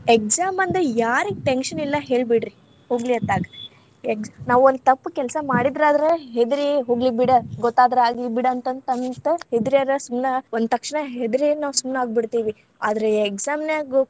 Exam ಅಂದ್ರ ಯಾರಿಗ್‌ tension ಇಲ್ಲಾ ಹೇಳ್ಬಿಡ್ರಿ ಹೋಗ್ಲಿ ಅತ್ತಾಗ್‌, ex~ ನಾವ್‌ ಒಂದ ತಪ್ಪ ಕೆಲ್ಸಾ ಮಾಡಿದ್ರ ಆದ್ರ ಹೆದರಿ ಹೋಗ್ಲಿಬಿಡ್‌, ಗೊತ್ತಾದ್ರ ಆಗ್ಲಿ ಬಿಡ, ಅಂತಂತಂತ ಹೆದರೇರ ಸುಮ್ನ್‌ ಒಂತಕ್ಷಣ ಹೆದರಿ ನಾವ್‌ ಸುಮ್ನಾಗ್ಬಿಡ್ತೇವಿ, ಆದ್ರೇ exam ನ್ಯಾಗ.